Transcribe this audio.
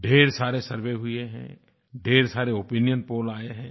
ढ़ेर सारे सर्वे हुए हैं ढ़ेर सारे ओपिनियन पोल आए हैं